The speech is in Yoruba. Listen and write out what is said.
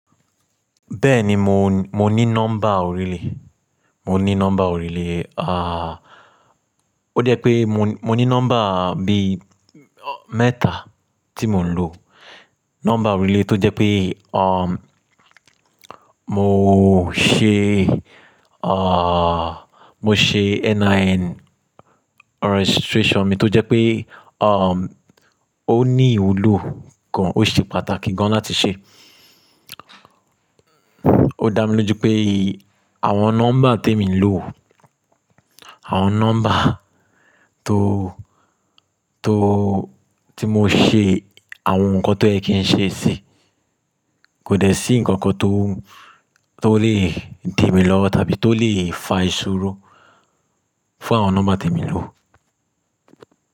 Bẹ́ẹ̀ni mò ń, mò ní nọ́mbà oríle, mò ní nọ́mbà oríle. Ó jẹ́ pé mò ní, mò ní nọ́mbà bí mẹ́ta tí mò ń lò. Nọ́mbà oríle tó jẹ́ pé, mò ṣe, mò ṣe NIN registration mi tó jẹ́ pé, ó ní ìwúlò kan, ó ṣe pàtàkì gan-an láti ṣe. Ó dá mi lójú pé àwọn nọ́mbà tèmi ń lò, àwọn nọ́mbà tó, tó tí mo ṣe àwọn nǹkan tó yẹ kí n ṣe sí, kò dẹ sí nǹkan kan tó, tó lè di mi lọ́wọ́ tàbí tó lè fa ìṣòro fún àwọn nọ́mbà tèmi ń lò.